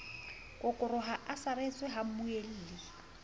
kokoroha a saretswe ha mmuelli